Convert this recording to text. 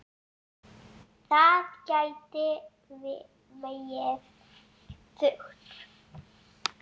Það gæti vegið þungt.